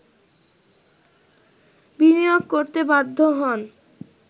বিনিয়োগ করতে বাধ্য হন